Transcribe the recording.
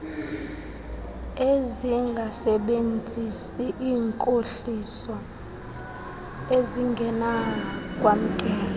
ezingasebenzisi iinkohliso ezingenakwamkela